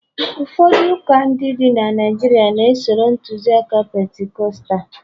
ụfọdụ ụka dị na Naijiria na- esoro nkuzi aka Pentikọstal